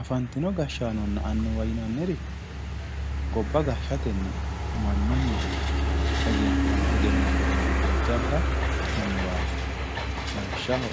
Afantino gashshaanonna annuwa yinnanniri gobba gashshatenni mannunni egenantinore jajjabba annuwati lawishshaho